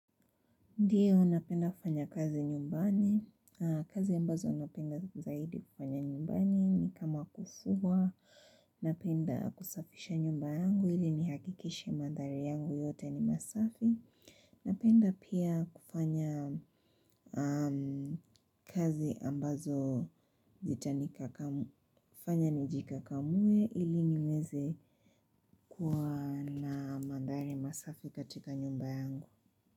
Ndio napenda kufanya kazi nyumbani, kazi ambazo napenda zaidi kufanya nyumbani ni kama kufua, napenda kusafisha nyumba yangu ili nihakikishe mandhari yangu yote ni masafi, napenda pia kufanya kazi ambazo kufanya nijikakamue ili niweze kuwa na mandhari masafi katika nyumba yangu.